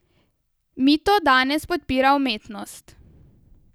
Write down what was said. Mito danes podpira umetnost.